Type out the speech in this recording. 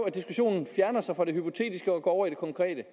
at diskussionen fjerner sig fra det hypotetiske og går over i det konkrete